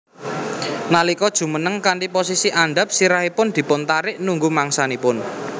Nalika jumeneng kanthi posisi andhap sirahipun dipuntarik nunggu mangsanipun